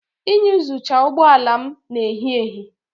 Iyuzucha ụgbọ ala m na ehi ehi.